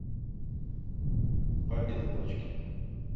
папины дочки